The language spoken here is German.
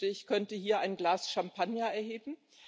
Ich wünschte, ich könnte hier ein Glas Champagner erheben.